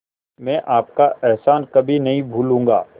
मैं आपका एहसान कभी नहीं भूलूंगा